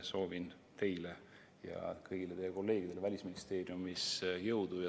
Soovin teile ja kõigile teie kolleegidele Välisministeeriumis jõudu.